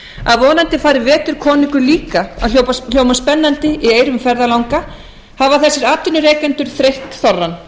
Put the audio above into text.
að vonandi fari vetur konungur líka að hljóma spennandi í eyrum ferðalanga hafa þessir atvinnurekendur þreytt þorrann